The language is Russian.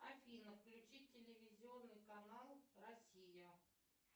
афина включи телевизионный канал россия